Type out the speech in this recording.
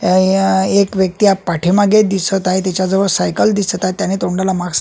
य एक व्यक्ती पाठीमागे दिसत आहे त्याच्या जवळ सायकल दिसत आहे त्याने तोंडाला मास्क --